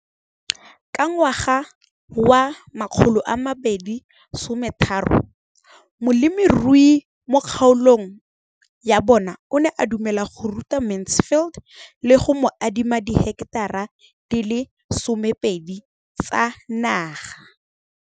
Ka ngwaga wa 2013, molemirui mo kgaolong ya bona o ne a dumela go ruta Mansfield le go mo adima di heketara di le 12 tsa naga.